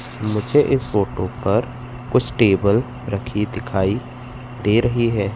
मुझे इस फोटो पर कुछ टेबल रखी दिखाई दे रही है।